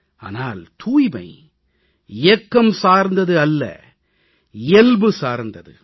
ஆனால் தூய்மை இயக்கம் சார்ந்தது அல்ல இயல்பு சார்ந்தது